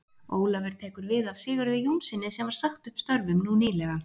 Ólafur tekur við af Sigurði Jónssyni sem var sagt upp störfum nú nýlega.